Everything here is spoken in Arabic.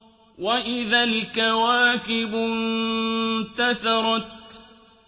وَإِذَا الْكَوَاكِبُ انتَثَرَتْ